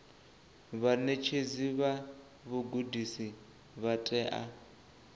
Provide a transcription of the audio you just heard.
vhaṋetshedzi vha vhugudisi vha tea